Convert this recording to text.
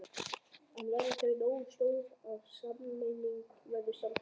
En verða þau nógu stór ef sameining verður samþykkt?